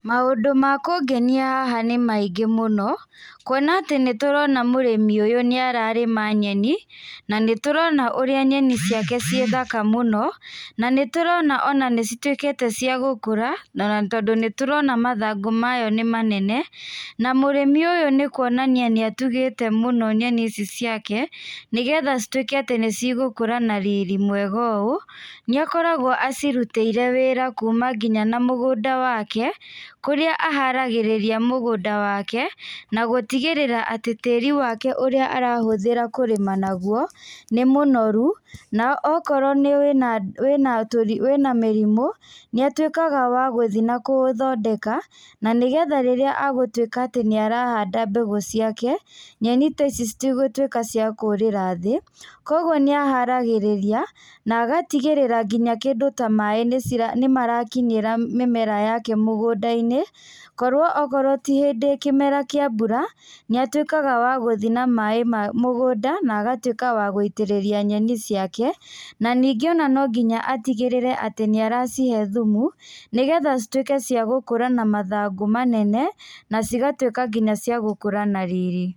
Maũndũ ma kũngenia haha nĩ maingĩ mũno, kuona atĩ nĩ tũrona mũrĩmi ũyũ nĩ ararĩma nyeni. Na nĩ tũrona ũrĩa nyeni ciake cirĩ thaka mũno, na nĩ tũrona ona nĩ cĩtuĩkĩte cĩa gũkũra, ona tondũ nĩ tũrona mathangũ mayo nĩ manene, na mũrimĩ ũyũ nĩ kuonania nĩ atugĩte mũno nyeni ici ciake, nĩgetha cĩtuĩke atĩ nĩigũkũra na riri mwega ũũ, nĩakoragwo acirutĩire kuma nginya na mũgũnda wake kũrĩa aharagĩrĩria mũgũnda wake, na gũtigĩrĩra atĩ tĩri wake ũrĩa arahũthĩra kũrĩma naguo, nĩ mũnoru na okorwo ũrĩ na mĩrĩmũ, nĩ atuikaga wa gũthiĩ na gũthondeka na nĩgetha rĩrĩa, agũtũĩka atĩ nĩarahanda mbegũ ciake, nyeni ta ici citigũtuĩka cia kũrĩra thĩ. Koguo nĩ ahatagĩrĩria na agatigĩrĩra nginya kĩndũ ta maĩ nĩ marakinyĩra mĩmera yake mũgũnda-inĩ. Korwo okorwo ti hĩndĩ kĩmera kĩa mbura, nĩ atuĩkaga wa gũthiĩ na maĩ mũgũnda na agatuĩka wa gũitĩrĩria nyenĩ ciake, na ningĩ no nginya atigĩrĩre nĩ aracihe thumu, nĩgetha cĩtuĩke cia gũkũra na mathangũ manene na cigatuĩka nginya ciagũkũra na riri.